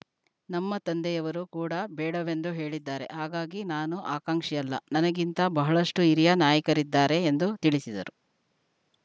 ನಮ್ಮ ತಂದೆಯವರು ಕೂಡ ಬೇಡವೆಂದು ಹೇಳಿದ್ದಾರೆ ಹಾಗಾಗಿ ನಾನು ಆಕಾಂಕ್ಷಿಯಲ್ಲ ನನಗಿಂತ ಬಹಳಷ್ಟುಹಿರಿಯ ನಾಯಕರಿದ್ದಾರೆ ಎಂದು ತಿಳಿಸಿದರು